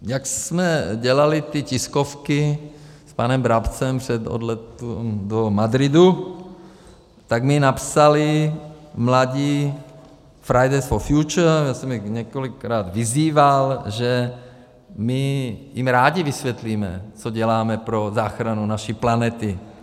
Jak jsme dělali ty tiskovky s panem Brabcem před odletem do Madridu, tak mi napsali mladí Fridays for Future - já jsem je několikrát vyzýval, že my jim rádi vysvětlíme, co děláme pro záchranu naší planety.